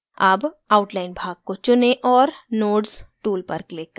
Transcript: अब outline भाग को चुनें और nodes tool पर click करें